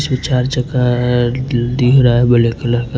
इसमें चार्जर का अअ दिख रहा हैं ब्लैक का--